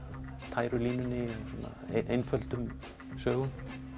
tæru línunni einföldum sögum